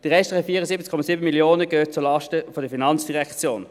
Die restlichen 74,7 Mio. Franken gehen zulasten der FIN.